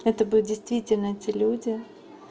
это будет действительно те люди